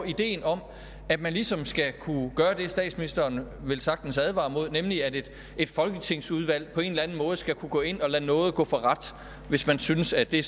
ideen om at man ligesom skal kunne gøre det statsministeren velsagtens advarer mod nemlig at et folketingsudvalg på en eller anden måde skal kunne gå ind og lade nåde gå for ret hvis man synes at det